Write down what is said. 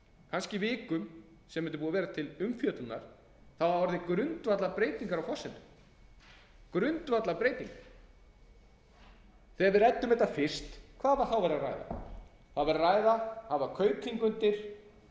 kannski vikum sem þetta er búið að vera til umfjöllunar hafa orðið grundvallarbreytingar á forsendum grundvallarbreyting þegar við ræddum þetta fyrst hvað var þá verið að ræða það var verið að ræða að